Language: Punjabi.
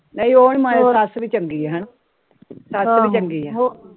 ਨਈ ਸੱਸ ਵੀ ਚੰਗੀ ਐ